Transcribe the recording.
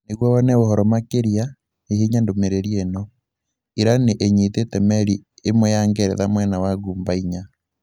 Nĩguo wone ũhoro makĩria, hihinya ndomereriri eno: Iran nĩ ĩnyitĩte meri ĩmwe ya Ngeretha mwena wa Ghuba inya.